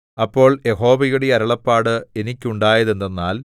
അപ്പോൾ യഹോവയുടെ അരുളപ്പാട് എനിക്കുണ്ടായതെന്തെന്നാൽ